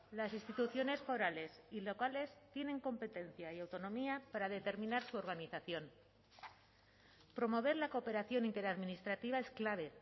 las instituciones forales y locales tienen competencia y autonomía para determinar su organización promover la cooperación interadministrativa es clave